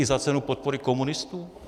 I za cenu podpory komunistů?